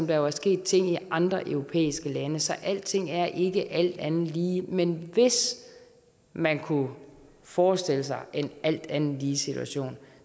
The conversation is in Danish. der jo sket ting i andre europæiske lande så alting er ikke alt andet lige men hvis man kunne forestille sig en alt andet lige situation